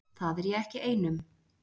Það er ég ekki ein um.